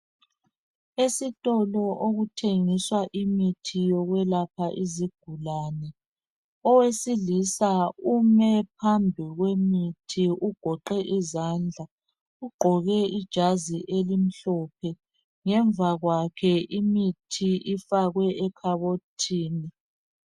Esitolo okuthengiswa imithi yokwelapha izigulane .Owesilisa ume phambikwemithi ugoqe izandla .Ugqoke ijazi elimhlophe, ngemva kwakhe imithi ifakwe ekhabothini.